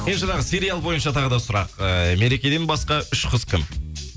жаңағы сериал бойынша тағы да сұрақ ыыы мерекеден басқа үш қыз кім